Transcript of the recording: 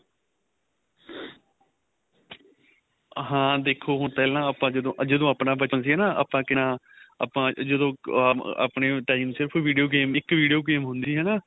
ਹਾਂ ਦੇਖੋ ਹੁਣ ਪਹਿਲਾਂ ਆਪਾਂ ਜਦੋ ਜਦੋ ਆਪਣਾ ਬਚਪਣ ਸੀ ਹਨਾ ਆਪਾਂ ਕਿੰਨਾ ਆਪਾਂ ਜਦੋ ਆਪਣੇ time ਸਿਰਫ video game ਇੱਕ video game ਹੁੰਦੀ ਸੀ ਹਨਾ